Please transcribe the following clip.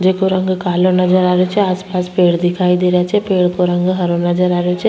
जेको रंग कालो नजर आ रहियो छे आस पास पेड़ दिखाई दे रहिया छे पेड़ को रंग हरो नजर आ रहियो छे।